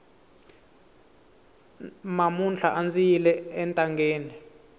mamuntlha andzi yile entangeni